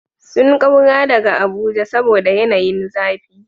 Sun kaura daga Abuja saboda yanayin zafi.